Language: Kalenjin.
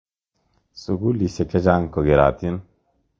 Sukulisyek che chang' ko kerotin.